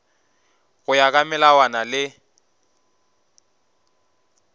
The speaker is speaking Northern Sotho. go ya ka melawana le